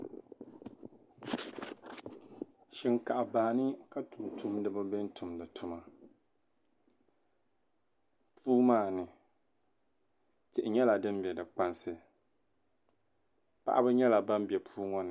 shinkaha baa ni ka tuntumdiba be n-tumdi tuma puu maa ni tihi nyɛla din be di kpansi paɣiba nyɛla ban be puu ŋɔ ni